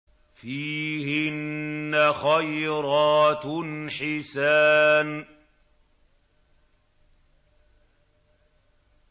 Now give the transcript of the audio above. فِيهِنَّ خَيْرَاتٌ حِسَانٌ